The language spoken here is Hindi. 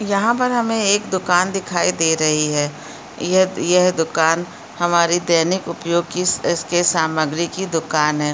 यहाँ पर हमें एक दूकान दिखाई दे रही है यह यह दूकान हमारी दैनिक उपयोग की इसके सामग्री की दूकान है।